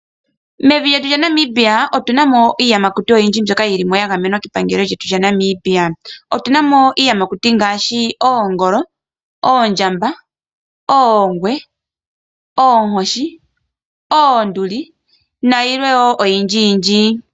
Mevi lyetu lya Namibia otuna mo iiyamakuti oyindji mbyoka yili mo ya gamenwa kepangelo lyetu lya Namibia. Otuna mo iiyamakuti ngaashi oongolo, oondjamba, oongwe, oonkoshi, oonduli nayilwe wo oyindji yindji.